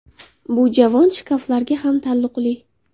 Bu javon, shkaflarga ham taalluqli.